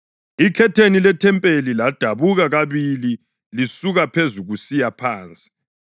Ikhetheni lethempeli ladabuka kabili lisuka phezulu kusiya phansi.